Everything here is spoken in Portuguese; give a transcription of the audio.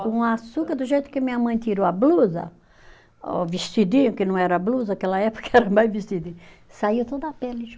E com açúcar, do jeito que minha mãe tirou a blusa, o vestidinho, que não era blusa, aquela época era mais vestidinho, saía toda a pele junto.